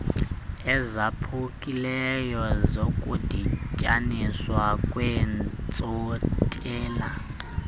ezaphukileyo zokudityaniswa kweentsontela